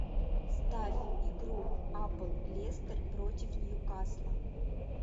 ставь игру апл лестер против ньюкасла